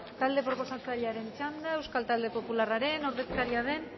talde proposatzailearen txanda euskal talde popularraren ordezkaria den